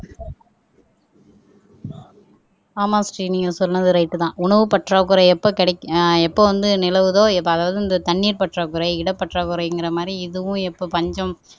ஆமாம் ஸ்ரீ நீங்க சொன்னது ரைட் தான் உணவு பற்றாக்குறை எப்ப கிடைக்கும் ஆஹ் எப்ப வந்து நிலவுதோ அதாவது இந்த தண்ணீர் பற்றாக்குறை இடப்பற்றாக்குறைங்கற மாதிரி இதுவும் எப்போ பஞ்சம்